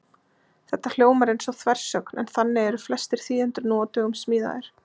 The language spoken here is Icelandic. Þetta hljómar eins og þversögn, en þannig eru flestir þýðendur nú á dögum smíðaðir.